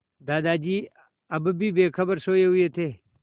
दादाजी अब भी बेखबर सोये हुए थे